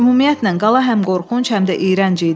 Ümumiyyətlə, qala həm qorxunc, həm də iyrənc idi.